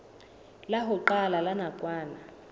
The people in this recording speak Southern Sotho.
la ho qala la nakwana